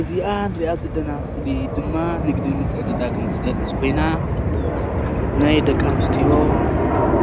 እዚ ምስሊ ናይ ደቂ ኣንስትዮ